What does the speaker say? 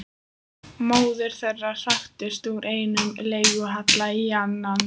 Móðir þeirra hraktist úr einum leiguhjalli í annan.